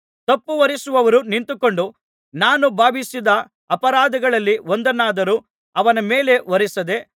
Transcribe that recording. ತಪ್ಪು ಹೊರಿಸುವವರು ನಿಂತುಕೊಂಡು ನಾನು ಭಾವಿಸಿದ್ದ ಅಪರಾಧಗಳಲ್ಲಿ ಒಂದನ್ನಾದರೂ ಅವನ ಮೇಲೆ ಹೊರಿಸದೆ